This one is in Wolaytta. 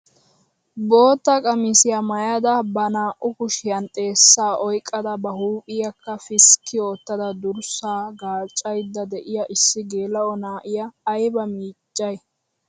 Bootta qamisiyaa maayada ba naa"u kushiyaan xeessaa oyqqada ba huuphphiyaa piskki oottada durssaa gaaccayda de'iyaa issi geela'o na'iyaa ayba miccayi!